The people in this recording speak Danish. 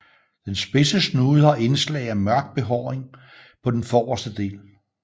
Den spidse snude har indslag af mørk behåring på den forrreste del